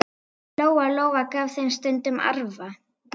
Lóa-Lóa gaf þeim stundum arfa.